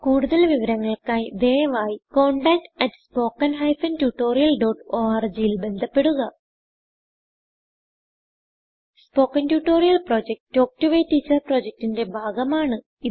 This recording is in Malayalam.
കുടുതൽ വിവരങ്ങൾക്കായി ദയവായിcontactspoken tutorialorg ൽ ബന്ധപ്പെടുക spoken tutorial project talk to a teacher പ്രൊജക്റ്റ്ന്റെ ഭാഗമാണ്